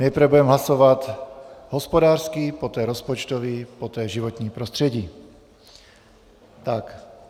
Nejprve budeme hlasovat hospodářský, poté rozpočtový, poté životní prostředí.